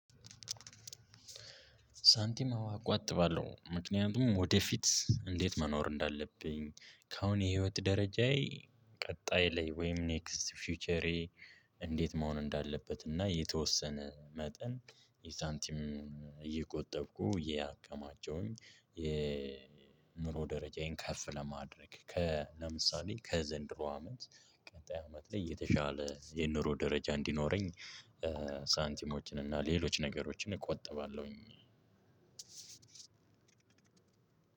ሳንቲም አዎ አቆትባለሁ ምክንያቱም ወደፊት እንዴት መኖር እንዳለብኝ ከአሁን የህይወት ደረጃዬ ቀጣይ ላይ ወይም ኔክስት ፊውቸሬ እንዴት መሆን እንዳለበት እና የተወሰነ መጠን የሳንቲም እየቆጠብኩ እያከማቸሁኝ የኑሮ ደረጃዬን ከርፍ ለማድረግ ከ ለምሳሌ ከዘንድሮ አመት ቀጣይ አመት ላይ የተሻለ የኑሮ ደረጃ እንዲኖረኝ። ሳንቲሞችን እና ሌሎች ነገሮችን እቆጥባለሁኝ።